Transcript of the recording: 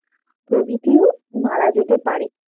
প্রভৃতিও মারা যেতে পারে।